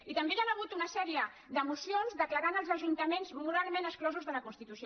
i també hi han hagut una sèrie de mocions que declaraven els ajuntaments moralment exclosos de la constitució